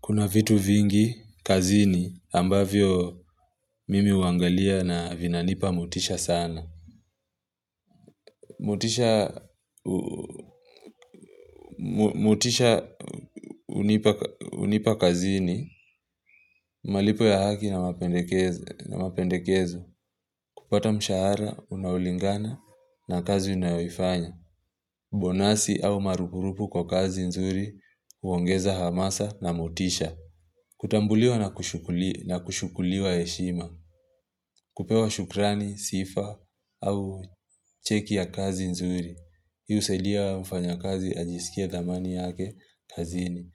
Kuna vitu vingi, kazini, ambavyo mimi huangalia na vinanipa motisha sana. Motisha hunipa kazini, malipo ya haki na mapendekezo mapendekezo. Kupata mshahara, unaulingana na kazi unaoifanya. Bonasi au marupurupu kwa kazi nzuri, huongeza hamasa na motisha. Kutambuliwa na kushukuli kushukuliwa heshima. Kupewa shukrani, sifa au cheki ya kazi nzuri. Hii husaidia mfanyakazi ajisikie dhamani yake kazini.